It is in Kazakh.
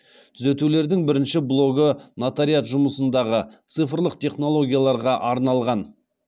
түзетулердің бірінші блогы нотариат жұмысындағы цифрлық технологияларға арналған